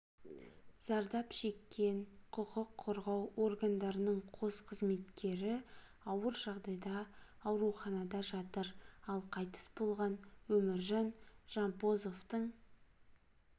зардап шеккен құқық қорғау органдарының қос қызметкері ауыр жағдайда ауруханада жатыр ал қайтыс болған өміржан жампозовтың